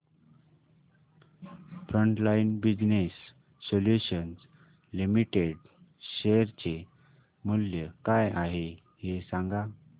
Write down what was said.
frontline business solutions limited share चे मूल्य काय आहे हे सांगा